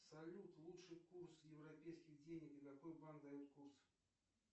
салют лучший курс европейских денег и какой банк дает курс